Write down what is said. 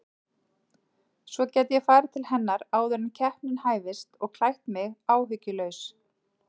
Svo gæti ég farið til hennar áður en keppnin hæfist og klætt mig áhyggjulaus.